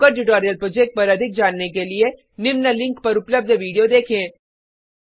spoken tutorial project पर अधिक जानने के लिए निम्न लिंक पर उपलब्ध विडिओ देखें